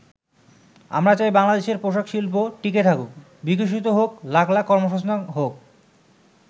আমরা চাই বাংলাদেশের পোশাক শিল্প টিকে থাকুক, বিকশিত হোক, লাখ লাখ কর্মসংস্থান হোক।